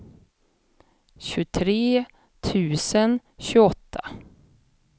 tjugotre tusen tjugoåtta